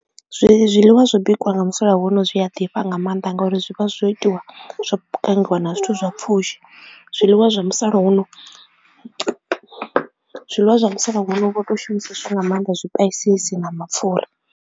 Zwiḽiwa zwo bikiwa nga musalauno zwi a ḓifha nga maanḓa ngauri zwi vha zwo itiwa zwo pangiwa nga zwithu zwa pfhushi zwiḽiwa zwa musalauno, zwiḽiwa zwa musalauno vho to shumiseswa nga maanḓa zwipaisisi na mapfhura.